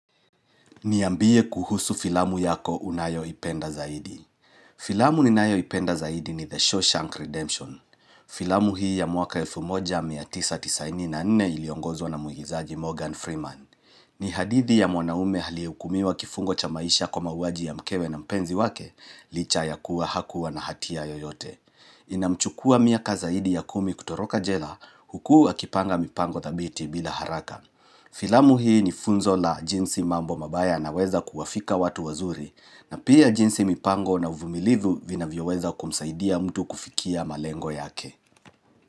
Niambie kuhusu filamu yako unayo ipenda zaidi. Filamu ninayo ipenda zaidi ni The Shawshank Redemption. Filamu hii ya mwaka 1994 iliongozo na muigizaji Morgan Freeman. Ni hadithi ya mwanaume aliyeukumiwa kifungo cha maisha kwa mauwaji ya mkewe na mpenzi wake, licha ya kuwa hakuwa na hatia yoyote. Inamchukua miaka zaidi ya kumi kutoroka jela, hukuakipanga mipango thabiti bila haraka. Filamu hii ni funzo la jinsi mambo mabaya na weza kuwafika watu wazuri na pia jinsi mipango na uvumilivu vina vyo weza kumsaidia mtu kufikia malengo yake.